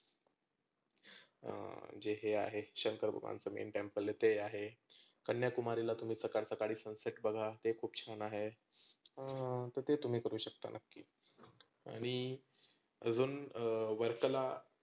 अं जे हे आहे शंकर भगवानचं main temple ते आहे. कन्याकुमारीला तुम्ही सकाळ सकाळी sunset बघा ते खुप छान आहे. अह तर ते तुम्ही करू शकता. नक्की आणि आजुन वर्कला